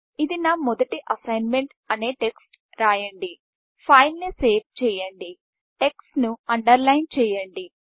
ఇది న మొదటి అస్సీన్మెంట్అనే టెక్స్ట్ రాయండి ఫైల్ ని సేవ్ చేయండి టెక్ట్స్ను అండర్లైన్ చేయండి